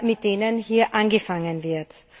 mit denen hier angefangen wird?